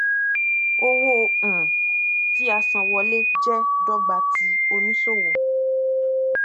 owó um tíasanwọlé jẹ dọgba ti oníṣòwò